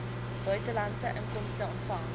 buitelandse inkomste ontvang